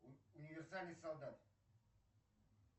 универсальный солдат